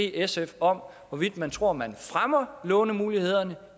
sf om hvorvidt man tror man fremmer lånemulighederne